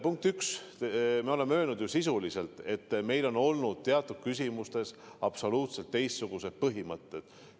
Punkt üks, me oleme ju öelnud, sisuliselt, et meil on olnud teatud küsimustes absoluutselt teistsugused põhimõtted.